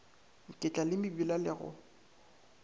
ke tlale mebila le go